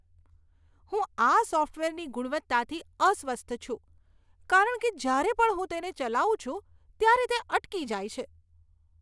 હું આ સોફ્ટવેરની ગુણવત્તાથી અસ્વસ્થ છું કારણ કે જ્યારે પણ હું તેને ચલાવું છું, ત્યારે તે અટકી જાય છે.